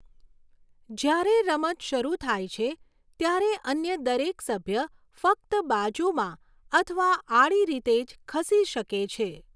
જ્યારે રમત શરૂ થાય છે, ત્યારે અન્ય દરેક સભ્ય ફક્ત બાજુમાં અથવા આડી રીતે જ ખસી શકે છે.